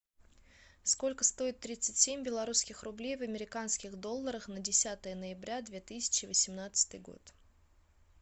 сколько стоит тридцать семь белорусских рублей в американских долларах на десятое ноября две тысячи восемнадцатый год